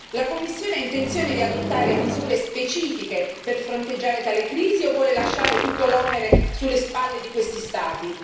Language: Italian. La Commissione ha intenzione di adottare misure specifiche per fronteggiare tale crisi o vuole lasciare tutto l'onere sulle spalle di questi Stati?